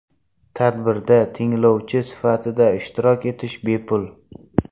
Tadbirda tinglovchi sifatida ishtirok etish bepul.